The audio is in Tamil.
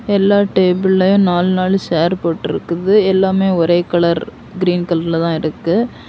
எல்லா டேபுளையு நாலு நாலு சேர் போட்டுருக்குது எல்லாமே ஒரே கலர் கிரீன் கலர்ல தான் இருக்கு.